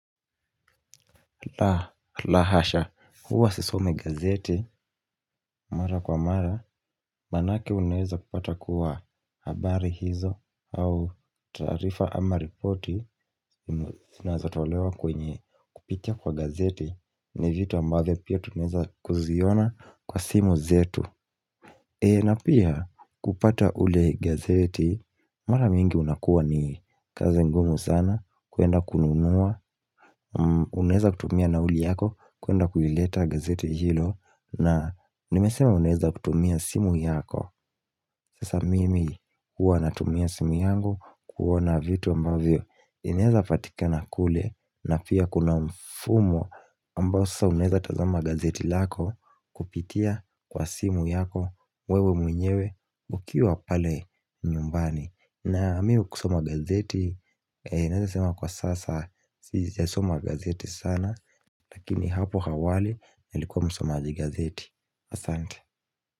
La hasha, huwa sisomi gazeti, Mara kwa mara, manake unaweza kupata kuwa habari hizo, au taarifa ama ripoti, zinazatolewa kwenye kupitia kwa gazeti, ni vitu ambavyo pia tunaweza kuziona kwa simu zetu. Na pia kupata ule gazeti, mara mingi unakuwa ni kazi ngumu sana, kuenda kununua, unaweza kutumia nauli yako, kuenda kuileta gazeti hilo, na nimesema unaweza kutumia simu yako. Sasa mimi huwa natumia simu yangu kuona vitu ambavyo inaweza patikana kule na pia kuna mfumo ambao sasa unaweza tazama gazeti lako kupitia kwa simu yako wewe mwenyewe ukiwa pale nyumbani. Na mimi kusoma gazeti naweza sema kwa sasa, sijasoma gazeti sana Lakini hapo awali nilikuwa msomaji gazeti. Asante.